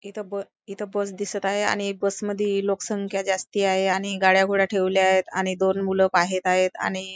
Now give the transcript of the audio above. इथं ब इथं बस दिसत आहे आणि बसमध्ये लोकसंख्या जास्ती आहे आणि गाड्या गुड्या ठेवल्या आहेत आणि दोन मुलं बाहेर आहेत आणि--